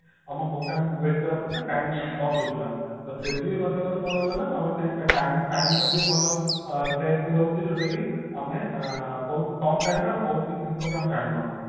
ଆମେ ବହୁତ time wait କଲା ପରେ ବି time loss ହଉଥିଲା ତ three G ମାଧ୍ୟମରେ କଣ ହେଲା ନା ଆମର ସେଇ time time ଯଦି ଭଲ save ବି ରହୁଛି ଯୋଉଟା କି ଆମେ ଅ ବହୁତ କମ time ରେ ଆମେ ବହୁତ କିଛି ଜିନିଷ ବି ଆମେ ଜାଣିପାରୁଛେ